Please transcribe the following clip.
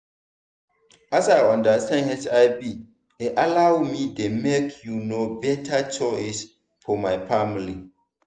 as i understand hiv e allow me dey make you know better choice for my family.